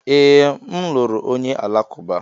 Ee, m lụrụ onye Alakụba.